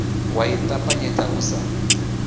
wa ḽi ṱapanyedza u sa